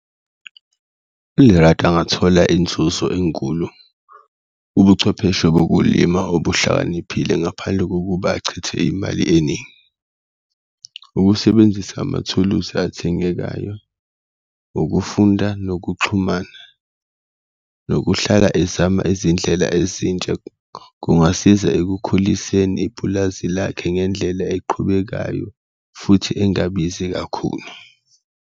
ULerato angathola inzuzo enkulu ubuchwepheshe bokulima obuhlakaniphile ngaphandle kokuba achithe imali eningi, ukusebenzisa amathulusi athengekayo, ukufunda, nokuxhumana, nokuhlala ezama izindlela ezintsha, kungasiza ekukhuliseni ipulazi lakhe ngendlela eqhubekayo futhi engabizi kakhulu.